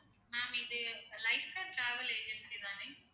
ma'am இது lifetime travel agency தானே